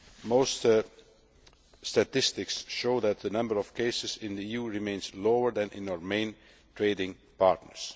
Most statistics show that the number of cases in the EU remains lower than in our main trading partners.